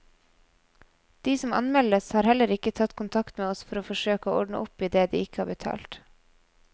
De som anmeldes, har heller ikke tatt kontakt med oss for å forsøke å ordne opp i det de ikke har betalt.